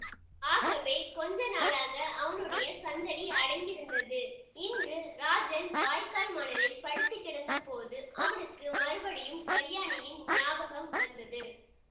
ஆகவே கொஞ்ச நாளாக அவனுடைய சந்தடி அடங்கியிருந்தது இன்று ராஜன் வாய்க்கால் மணலில் படுத்து கிடந்த போது அவனுக்கு மறுபடியும் கல்யாணியின் ஞாபகம் வந்தது